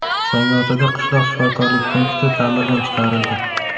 Zangiotada qishloq shifokorlik punkti ta’mirdan chiqarildi.